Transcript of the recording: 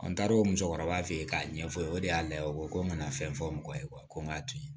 An taar'o musokɔrɔba fe yen k'a ɲɛfɔ o ye o de y'a la o ko ko n kana fɛn fɔ mɔgɔ ye ko n k'a to yen